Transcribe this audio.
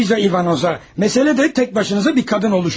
Xanım Luiza İvanoza, məsələ də təkbaşına bir qadın olmağınızdır.